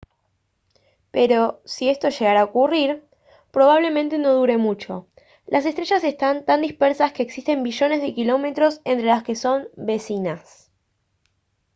pero si esto llegara a ocurrir probablemente no dure mucho. las estrellas están tan dispersas que existen billones de kilómetros entre las que son «vecinas»